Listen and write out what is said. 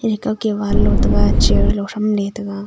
ekake wall lotega chair lo thramley tega.